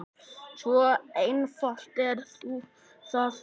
Svo einfalt er það nú.